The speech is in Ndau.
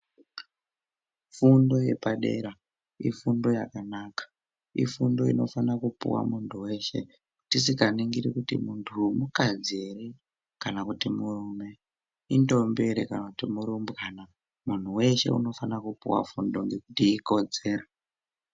Fundo yepadera ifundo yakanaka ifundo inofana kupuwa muntu weshe tisinganingiri kuti muntuu mukadzi ere kana kuti murume, indombi ere kana kuti murumbwana, muntu weshe unofana kupuwa fundo ngekuti ikodzero.